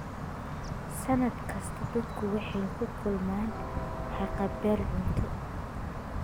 Sannad kasta, dadku waxay la kulmaan haqab-beel cunto.